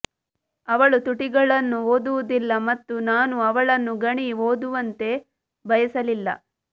ಅವಳು ತುಟಿಗಳನ್ನು ಓದುವುದಿಲ್ಲ ಮತ್ತು ನಾನು ಅವಳನ್ನು ಗಣಿ ಓದುವಂತೆ ಬಯಸಲಿಲ್ಲ